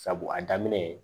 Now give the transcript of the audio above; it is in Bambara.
Sabu a daminɛ